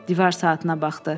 Divar saatına baxdı.